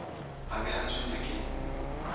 a be a tshwenywa ke